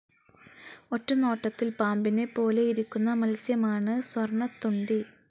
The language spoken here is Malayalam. ഒറ്റനോട്ടത്തിൽ പാമ്പിനെ പോലെയിരിക്കുന്ന മത്സ്യം ആണ് സ്വർണ്ണത്തൊണ്ടി.